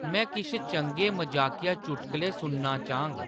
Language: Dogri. में किश चंगे मजाकिया चुटकुले सुनना चाह्‌ङ